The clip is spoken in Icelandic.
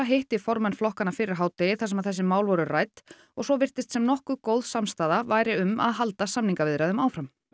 hitti formenn flokkanna fyrir hádegi þar sem þessi mál voru rædd og svo virtist sem nokkuð góð samstaða væri um að halda samningaviðræðum áfram